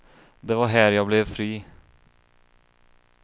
Det var här jag blev fri.